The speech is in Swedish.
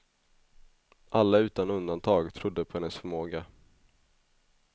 Alla utan undantag trodde på hennes förmåga.